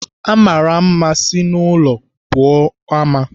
Amara mma si n'ụlọ pụọ ama.